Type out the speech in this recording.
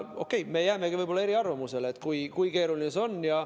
Okei, me jäämegi võib-olla eriarvamusele selles, kui keeruline see on.